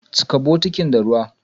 Chika bukitin da ruwa!